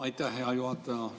Aitäh, hea juhataja!